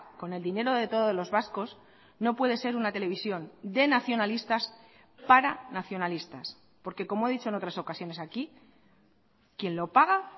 con el dinero de todos los vascos no puede ser una televisión de nacionalistas para nacionalistas porque como he dicho en otras ocasiones aquí quien lo paga